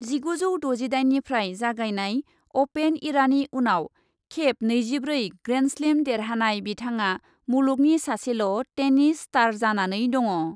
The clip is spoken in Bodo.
जिगुजौ द'जिदाइननिफ्राय जागायनाय अपेन इरानि उनाव खेब नैजिब्रै ग्रेन्डस्लेम देरहानाय बिथाङा मुलुगनि सासेल' टेनिस स्टार जानानै दङ।